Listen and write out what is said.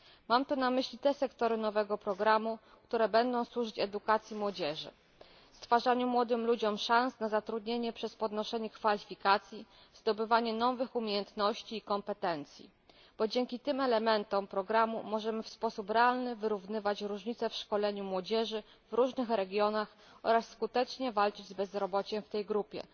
Mam tu na myśli te sektory nowego programu, które będą służyć edukacji młodzieży, stwarzaniu młodym ludziom szans na zatrudnienie przez podnoszenie kwalifikacji, zdobywanie nowych umiejętności i kompetencji, ponieważ dzięki tym elementom programu możemy w sposób realny wyrównywać różnice w szkoleniu młodzieży w różnych regionach oraz skutecznie walczyć z bezrobociem w tej grupie.